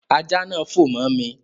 Ajá náà fò mọ́ mi